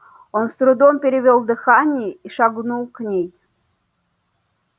он с трудом перевёл дыхание и шагнул к ней